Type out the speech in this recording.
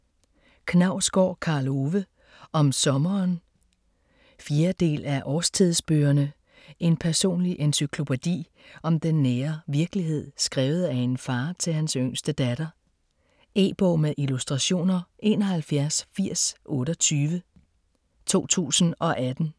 Knausgård, Karl Ove: Om sommeren 4. del af Årstidsbøgerne. En personlig encyklopædi om den nære virkelighed, skrevet af en far til hans yngste datter. E-bog med illustrationer 718028 2018.